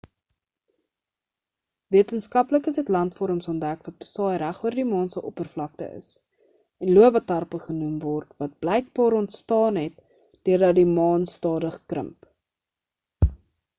wetenskaplikes het landvorms ontdek wat besaai regoor die maan se oppervalkte is en lobatarpe genoem word wat bykbaar onstaan het deurdat die maan stadig krimp